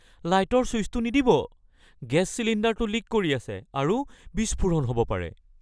লাইটৰ চুইচটো নিদিব। গেছ চিলিণ্ডাৰটো লিক কৰি আছে আৰু বিস্ফোৰণ হ'ব পাৰে।